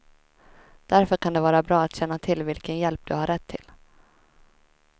Därför kan det vara bra att känna till vilken hjälp du har rätt till.